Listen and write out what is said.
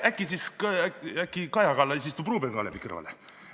Äkki siis Kaja Kallas istub Ruuben Kaalepi kõrvale.